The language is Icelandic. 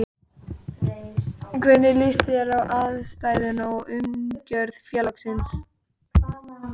Hvernig líst þér á aðstæður og umgjörð félagsins?